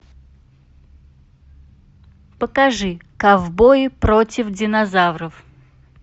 покажи ковбои против динозавров